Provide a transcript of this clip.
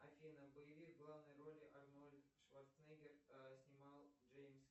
афина боевик в главной роли арнольд шварценеггер снимал джеймс